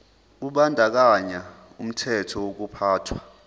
kubandakanya umthetho wokuphathwa